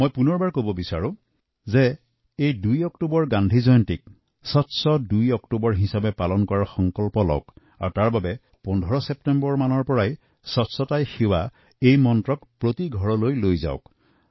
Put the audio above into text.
মই পুনৰবাৰ কওঁ যে আহক এই বছৰ ২অক্টোবৰত গান্ধী জয়ন্তীৰ দিনটো আমি স্বচ্ছ ২ অক্টোবৰ হিচাপে পালন কৰাৰ সংকল্প লওঁ আৰু ইয়াৰ বাবে ১৫ ছেপ্টেম্বৰৰ পৰাই স্বচ্ছতাই সেৱা এই মন্ত্ৰক ঘৰে ঘৰে প্ৰচাৰ কৰো